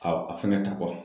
Aw, a fɛnkɛ ta kɔfɛ